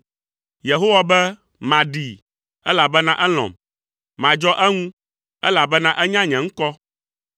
Yehowa be, “Maɖee, elabena elɔ̃m, madzɔ eŋu, elabena enya nye ŋkɔ.